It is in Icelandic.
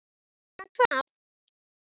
Nema hvað!